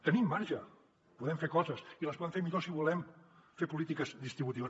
tenim marge podem fer coses i les podem fer millor si volem fer polítiques distributives